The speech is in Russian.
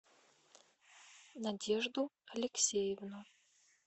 надежду алексеевну